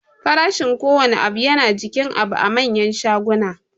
Farashin kowanne abu yana jikin abu a manyan shaguna